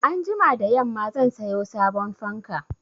Anjima da yamma zan sayo sabon fanka.